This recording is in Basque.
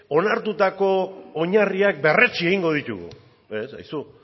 onartutako oinarriak berretsi egingo ditugu ez aizu